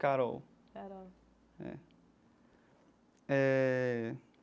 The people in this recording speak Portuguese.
Carol. Carol. É eh.